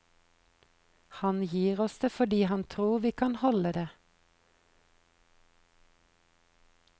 Han gir oss det fordi han tror vi kan holde det.